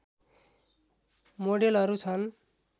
मोडेलहरू छन्